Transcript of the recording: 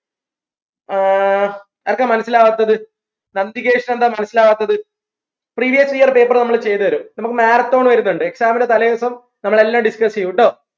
ആഹ് ആർക്കാ മനസ്സിലാവാത്തത് ന് എന്താ മനസ്സിലാവാത്തത് previous year paper നമ്മൾ ചെയ്തെരും നമ്മക്ക് marathon വരുന്നുണ്ട് exam ന്റെ തലേദിവസം നമ്മൾ എല്ലാം discuss ചെയ്യും ട്ടോ